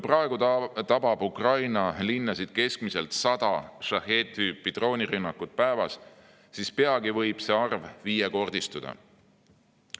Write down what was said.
Praegu tabab Ukraina linnasid keskmiselt 100 Shaheed‑tüüpi drooni rünnakut päevas, aga peagi võib see arv viiekordistuda.